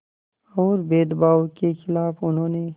और भेदभाव के ख़िलाफ़ उन्होंने